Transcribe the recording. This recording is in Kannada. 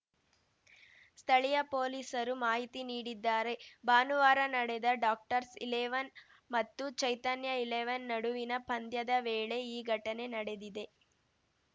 ಸ್ಥಳೀಯ ಪೊಲೀಸರು ಮಾಹಿತಿ ನೀಡಿದ್ದಾರೆ ಭಾನುವಾರ ನಡೆದ ಡಾಕ್ಟರ್ಸ್ ಇಲೆವನ್‌ ಮತ್ತು ಚೈತನ್ಯ ಇಲೆವೆನ್‌ ನಡುವಿನ ಪಂದ್ಯದ ವೇಳೆ ಈ ಘಟನೆ ನಡೆದಿದೆ